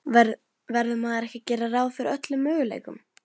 Verður maður ekki að gera ráð fyrir öllum möguleikum?